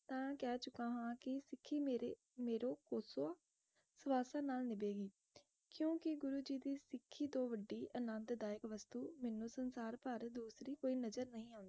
ਤਾ ਕਹਿ ਚੁਕਾ ਹੈ ਕਿ ਸਿੱਖੀ ਮੇਰੇ ਮੇਰੋ ਕੋਸੋਆ ਸਵਾਸਾਂ ਨਾਲ ਨਿਭੇਗੀ ਕਿਉਕਿ ਗੁਰੂ ਜੀ ਦੀ ਸਿੱਖੀ ਤੋਂ ਵੱਡੀ ਆਨੰਦਦਾਇਕ ਵਸਤੂ ਮੈਨੂੰ ਸੰਸਾਰਭਰ ਦੂਸਰੀ ਕੋਈ ਨਜ਼ਰ ਨਹੀਂ ਆਉਂਦੀ